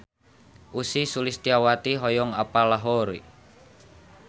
Ussy Sulistyawati hoyong apal Lahore